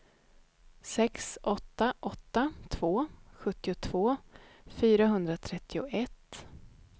sex åtta åtta två sjuttiotvå fyrahundratrettioett